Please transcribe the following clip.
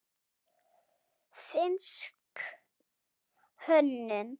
Finnsk hönnun.